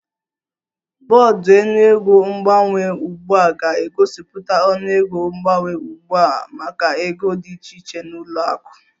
Bọọdụ ọnụego mgbanwe ugbu a ga-egosipụta ọnụego mgbanwe ugbu a maka ego dị iche iche na ụlọ akụ